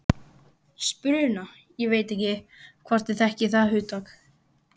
Spuna ég veit ekki, hvort þið þekkið það hugtak.